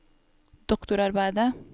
doktorarbeidet